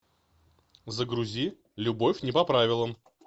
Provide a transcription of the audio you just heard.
загрузи любовь не по правилам